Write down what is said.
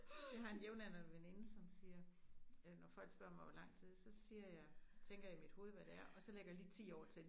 Jeg har en jævnaldrende som siger øh når folk spørger mig hvor lang tid så siger jeg tænker jeg i mit hoved hvad det er og så lægger jeg lige 10 år til